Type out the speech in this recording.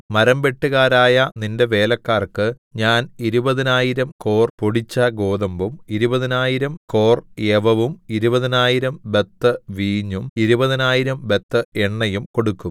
മരംവെട്ടുകാരായ നിന്റെ വേലക്കാർക്കു ഞാൻ ഇരുപതിനായിരം കോർ പൊടിച്ച ഗോതമ്പും ഇരുപതിനായിരം കോർ യവവും ഇരുപതിനായിരം ബത്ത് വീഞ്ഞും ഇരുപതിനായിരം ബത്ത് എണ്ണയും കൊടുക്കും